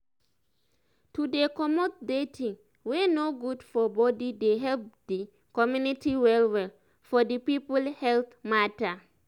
to dey comot dirty wey no good for body dey help di community well well for di people health mata